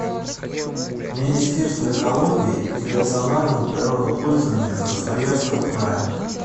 министерство экологии и рационального природопользования красноярского края